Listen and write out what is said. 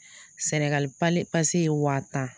Senegal pale pase ye wa tan.